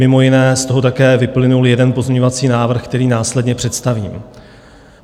Mimo jiné z toho také vyplynul jeden pozměňovací návrh, který následně představím.